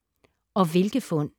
Og hvilke fund